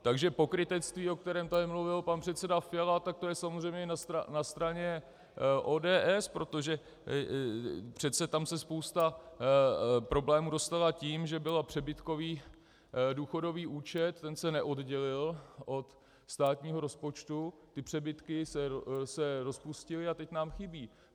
Takže pokrytectví, o kterém tady mluvil pan předseda Fiala, tak to je samozřejmě na straně ODS, protože přece tam se spousta problémů dostala tím, že byl přebytkový důchodový účet, ten se neoddělil od státního rozpočtu, ty přebytky se rozpustily a teď nám chybí.